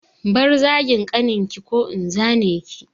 Bar zagin ƙaninki ko in zane ki!